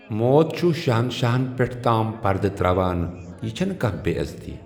موتھ چھٗ شہنشاہن پیٹھ تام پردٕ تر٘اوان ، یہِ چھنہٕ كانہہ بے٘عزتی ۔